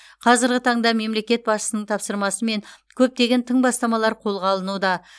қазіргі таңда мемлекет басшысының тапсырмасымен көптеген тың бастамалар қолға алынуда